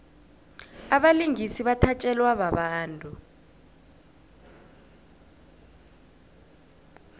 abalingisi bathatjelwa babantu